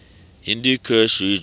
hindu kush region